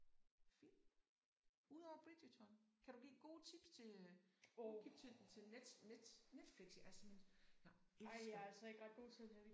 Film. Udover Bridgerton kan du give gode tips til øh gode tip til net net Netflix jeg er simpelthen jeg elsker